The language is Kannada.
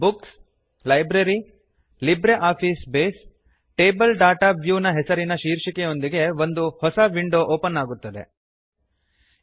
books - library - LibreOffice Base table data view ಹೆಸರಿನ ಶೀರ್ಷಕದೊಂದಿಗೆ ಒಂದು ಹೊಸ ವಿಂಡೋ ಓಪನ್ ಆಗುತ್ತದೆ ತೆರೆಯುತ್ತದೆ